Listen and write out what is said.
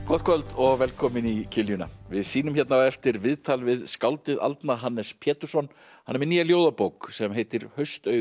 gott kvöld og velkomin í við sýnum hérna á eftir viðtal við skáldið aldna Hannes Pétursson hann er með nýja ljóðabók sem heitir